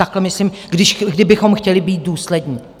Takhle myslím, kdybychom chtěli být důslední.